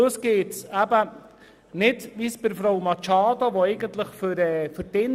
Frau Grossrätin Machado will für die Insassen alles ein bisschen auflockern.